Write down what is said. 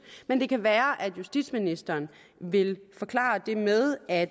men det kan være at justitsministeren vil forklare det med at